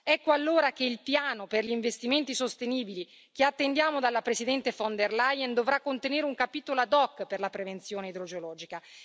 Ecco allora che il piano per gli investimenti sostenibili, che attendiamo dalla Presidente von der Leyen, dovrà contenere un capitolo ad hoc per la prevenzione idrogeologica.